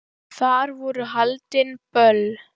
Þar voru haldin böll.